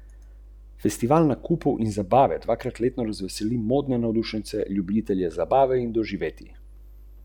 Češnjeve paradižnike razpolovimo.